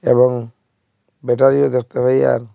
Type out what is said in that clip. এবং ব্যাটারিও দেখতে পাই আর--